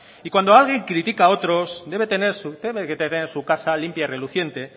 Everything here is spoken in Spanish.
y cuando alguien critica a otros tiene que tener su casa limpia y reluciente